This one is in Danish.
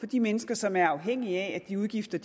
de mennesker som er afhængige af at de udgifter